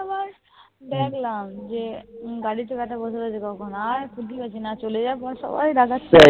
দেখলাম যে গাড়িতে ব্যাটা বসে রয়েছে কখন। আর । আর চলে যাওয়ার পর সবাই রাগাচ্ছে।